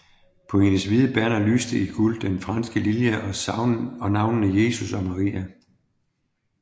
På hendes hvide banner lyste i guld den franske lilje og navnene Jesus og Maria